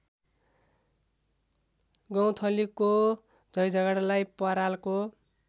गौँथलीको झैँझगडालाई परालको